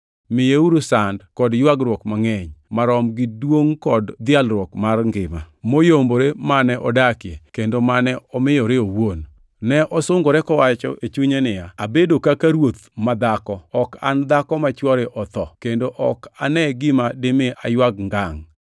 Miyeuru sand kod ywagruok mangʼeny marom gi duongʼ kod dhialruok mar ngima moyombore mane odakie kendo mane omiyore owuon. Ne osungore kowacho e chunye niya, ‘Abedo kaka ruoth ma dhako, ok an dhako ma chwore otho kendo ok ane gima dimi aywag ngangʼ.’ + 18:7 \+xt Isa 47:7,8\+xt*